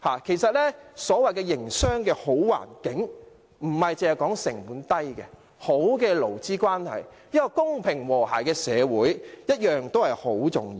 其實，所謂良好的營商環境，並非單指成本低，良好的勞資關係、一個公平和諧的社會也同樣十分重要。